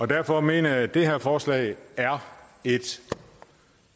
derfor mener jeg at det her forslag er et